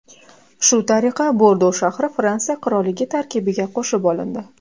Shu tariqa Bordo shahri Fransiya qirolligi tarkibiga qo‘shib olindi.